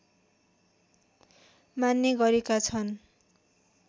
मान्ने गरेका छन्